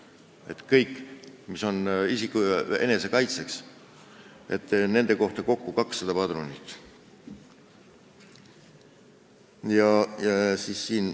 Nii et kõigi relvade kohta, mis on mõeldud isiku enesekaitseks, on kokku 200 padrunit.